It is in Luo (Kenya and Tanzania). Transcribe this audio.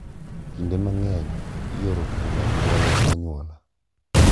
Kinde mang’eny, ioro kuom anyuola ka anyuola,